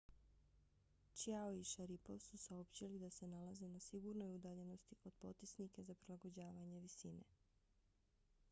chiao i sharipov su saopćili da se nalaze na sigurnoj udaljenosti od potisnika za prilagođavanje visine